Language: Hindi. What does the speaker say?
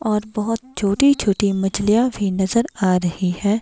और बहोत छोटी छोटी मछलियां भी नजर आ रही है।